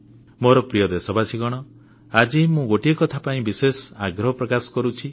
ମୋର ପ୍ରିୟ ଦେଶବାସୀ ଆଜି ମୁଁ ଗୋଟିଏ କଥା ପାଇଁ ବିଶେଷ ଆଗ୍ରହ ପ୍ରକାଶ କରୁଛି